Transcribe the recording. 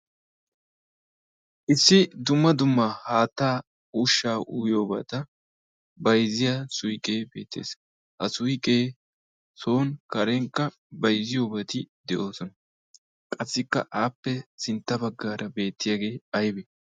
issi dumma dumma haattaa ushsha uyiyoobata bayzziya suyqqee beettees ha suyqee son karenkka bayzziyoobati de7oosona qassikka aappe sintta baggaara beettiyaagee aybbe